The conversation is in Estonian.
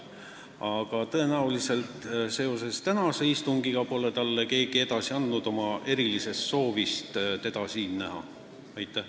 Aga tõenäoliselt pole keegi talle andnud edasi oma erilist soovi teda siin tänasel istungil näha.